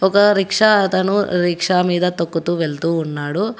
ఒక రిక్షా అతను రిక్షా మీద తొక్కుతూ వెళ్తూ ఉన్నాడు.